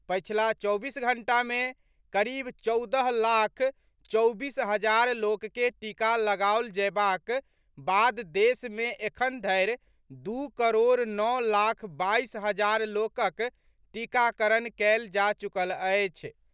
पछिला चौबीस घंटा मे करीब चौदह लाख चौबीस हजार लोक के टीका लगाओल जयबाक बाद देश मे एखन धरि दू करोड़ नओ लाख बाईस हजार लोकक टीकाकरण कयल जा चुकल अछि।